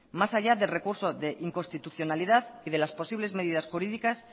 más allá del recurso de inconstitucionalidad y de las posibles medidas jurídicas